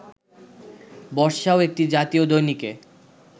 বর্ষাও একটি জাতীয় দৈনিকে